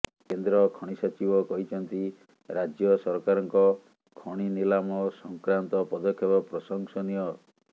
କେନ୍ଦ୍ର ଖଣି ସଚିବ କହିଛନ୍ତି ରାଜ୍ୟ ସରକାରଙ୍କ ଖଣି ନିଲାମ ସଂକ୍ରାନ୍ତ ପଦକ୍ଷେପ ପ୍ରଶଂସନୀୟ